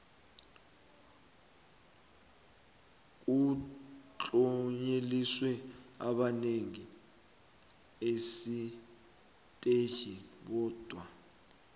kutlonyeliswe abangene esiteji bodwa